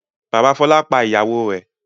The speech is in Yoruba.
Bàbá Fọlá pa ìyàwó rẹ̀.